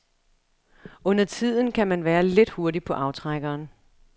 Undertiden kan man være lidt hurtig på aftrækkeren.